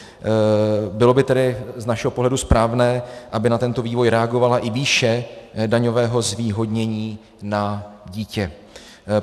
Bylo by tedy z našeho pohledu správné, aby na tento vývoj reagovala i výše daňového zvýhodnění na dítě.